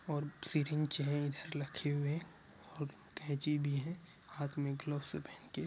और सिरिंज हुए और कैंची भी है हाथ मे ग्लवस पहन के--